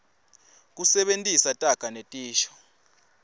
kusebentisa taga netisho